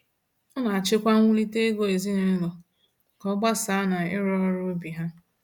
Ọ na achị kwa nwulite ego ezinaụlọ ka ọ agbasa na iru ọrụ ubi ha.